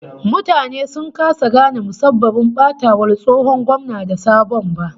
Mutane sun kasa gane musabbabin batawar tsohon gwamna da sabon ba